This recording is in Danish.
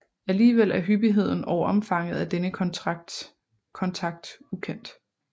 Alligevel er hyppigheden og omfanget af denne kontakt ukendt